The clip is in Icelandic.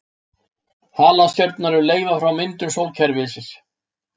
Halastjörnur eru leifar frá myndun sólkerfisins.